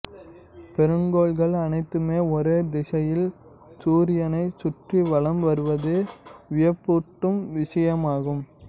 பெருங்கோள்கள் அனைத்துமே ஒரே திசையில் சூரியனைச் சுற்றி வலம் வருவது வியப்பூட்டும் விஷயமாகும்